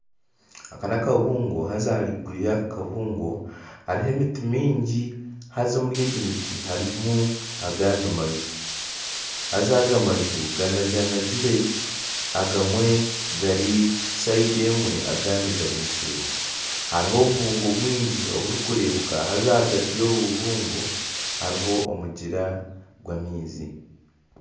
Aka nakabungo haaza ahaiguru yaka kabungo hariho emiti mingi haaza omuri egi miti harimu agandi manju haaza aga manju ganaganagire agamwe gari sayidi emwe agandi gari seeri hariho obubungo bwingi oburikureebuka haaza ahagati y'obu bubungo hariho omugyera gw'amaizi.